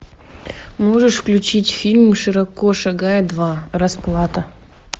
можешь включить фильм широко шагая два расплата